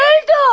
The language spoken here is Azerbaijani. Öldü o!